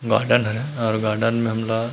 garden है अऊ garden में हमला--